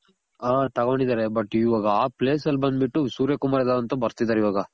ಆ ತಗೊಂಡಿದಾರೆ but ಇವಾಗ ಆ place ಅಲ್ ಬಂದ್ ಬಿಟ್ಟು ಸೂರ್ಯ ಕುಮಾರ ಅಂತ ಬರ್ತಿದಾರ್ ಇವಾಗ